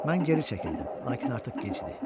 Mən geri çəkildim, lakin artıq gec idi.